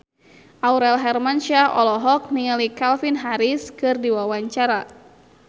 Aurel Hermansyah olohok ningali Calvin Harris keur diwawancara